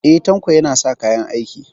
E, Tanko yana sa kayan aiki.